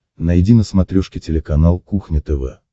найди на смотрешке телеканал кухня тв